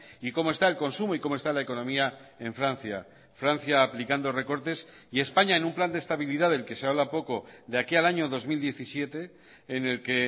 y como está el consumo y como está la economía en francia francia aplicando recortes y españa en un plan de estabilidad del que se habla poco de aquí al año dos mil diecisiete en el que